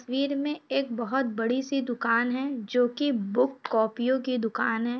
तस्वीर में एक बहोत बड़ी सी दुकान है जो की बुक कॉपियों की दुकान है।